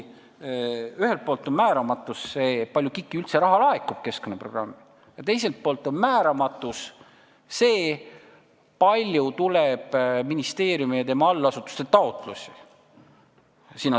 Ühelt poolt on määramatu see, kui palju KIK-i keskkonnaprogrammi üldse raha laekub, ja teiselt poolt on määramatu see, kui palju tuleb sinnasamasse programmi ministeeriumi ja tema allasutuste taotlusi.